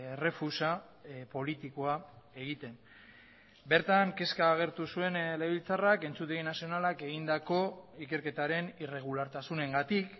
errefusa politikoa egiten bertan kezka agertu zuen legebiltzarrak entzutegi nazionalak egindako ikerketaren irregulartasunengatik